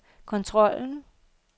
kontrollen